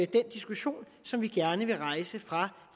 diskussion som vi gerne vil rejse fra